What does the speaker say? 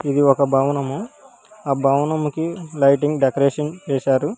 ఇది ఒక భవనము ఆ భవనమ్ముకి లైటింగ్ డెకరేషన్ చేశారు.